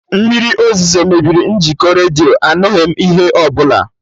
Mmiri ozuzo mebiri njikọ redio, anụghị m ihe ọbụla